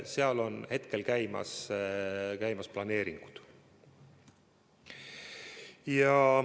Seal on hetkel käimas planeeringud.